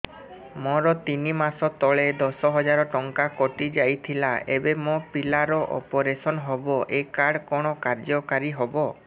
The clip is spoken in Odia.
ମୋର ତିନି ମାସ ତଳେ ଦଶ ହଜାର ଟଙ୍କା କଟି ଯାଇଥିଲା ଏବେ ମୋ ପିଲା ର ଅପେରସନ ହବ ଏ କାର୍ଡ କଣ କାର୍ଯ୍ୟ କାରି ହବ